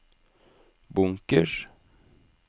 bunkers